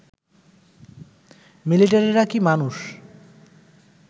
মিলিটারিরা কি মানুষ